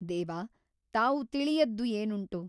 ದೇವ ತಾವು ತಿಳಿಯದ್ದು ಏನುಂಟು ?